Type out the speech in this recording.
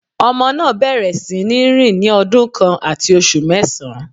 Ọmọ náà bẹ̀rẹ̀ sí ní rìn ní ọdún kan àti oṣù mẹ́sàn